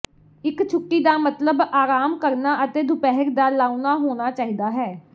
ਇੱਕ ਛੁੱਟੀ ਦਾ ਮਤਲਬ ਆਰਾਮ ਕਰਨਾ ਅਤੇ ਦੁਪਹਿਰ ਦਾ ਲਾਉਣਾ ਹੋਣਾ ਚਾਹੀਦਾ ਹੈ